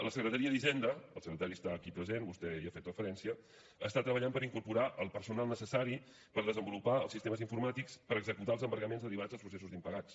la secretaria d’hisenda el secretari està aquí present vostè hi ha fet referència està treballant per incorporar el personal necessari per desenvolupar els sistemes informàtics per executar els embargaments derivats dels processos d’impagats